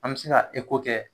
An mi se ka kɛ